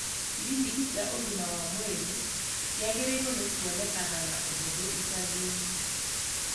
Kiriniki cia ũgima wa mwĩrĩ ciagĩrĩirwo nĩ kuonekana na ũhũthũ icagi-inĩ